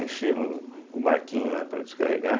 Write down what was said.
Enchemos o barquinho, né, para descarregar.